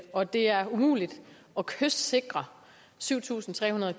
og det er jo umuligt at kystsikre syv tusind tre hundrede